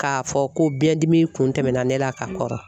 K'a fɔ ko biɲɛndimi kun tɛmɛna ne la ka kɔrɔ.